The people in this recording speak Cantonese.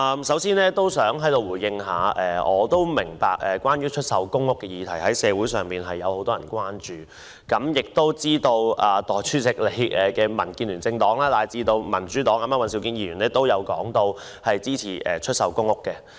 首先，很多市民對出售公屋議題表示關注，我知道代理主席的政黨——民主建港協進聯盟，以及民主黨尹兆堅議員均表示支持出售公屋。